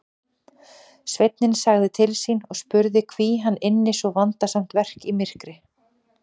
Sveinninn sagði til sín og spurði hví hann ynni svo vandasamt verk í myrkri.